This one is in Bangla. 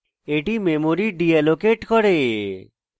এটি memory ডিএলোকেট করে